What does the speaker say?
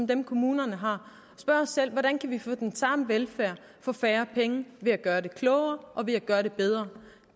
dem kommunerne har hvordan kan vi få den samme velfærd for færre penge ved at gøre det klogere og ved at gøre det bedre